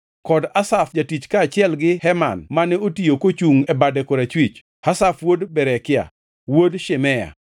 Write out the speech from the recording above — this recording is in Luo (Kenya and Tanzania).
kod Asaf jatich kaachiel gi Heman mane otiyo kochungʼ e bade korachwich. Asaf wuod Berekia, wuod Shimea,